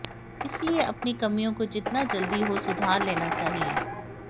इसलिए अपनी कमियों को जितना जल्दी हो सुधार लेना चाहिए